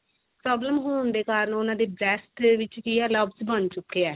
problem ਹੋਣ ਦੇ ਕਾਰਣ ਉਹਨਾਂ ਦੀ ਬਣ ਚੁਕੇ ਆ